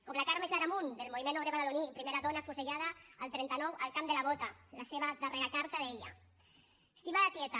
com la carme claramunt del moviment obrer badaloní primera dona afusellada el trenta nou al camp de la bota la seva darrera carta deia estimada tieta